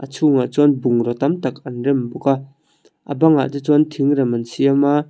chhungah chuan bungraw tam tak an rem bawk a a bangah te chuan thingrem an siam a.